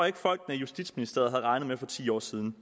ikke folkene i justitsministeriet havde regnet med for ti år siden